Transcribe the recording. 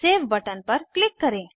save button पर click करें